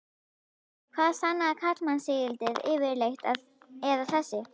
Hvað sannaði karlmannsígildið yfirleitt, eða þessi